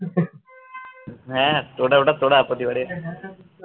হ্যাঁ তো ওটা তোরা প্রতিবারে